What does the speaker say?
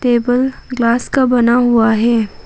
Table glass का बना हुआ है।